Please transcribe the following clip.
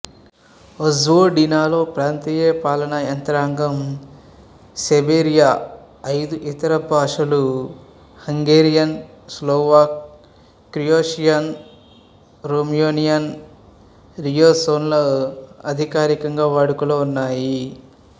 వొజ్వోడినాలో ప్రాంతీయ పాలనా యంత్రాంగం సెర్బియా ఐదు ఇతర భాషలు హంగేరియన్ స్లోవాక్ క్రొయేషియన్ రోమేనియన్ ర్యూసినోలుఅధికారికంగా వాడుకలో ఉన్నాయి